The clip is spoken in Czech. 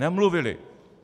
Nemluvili.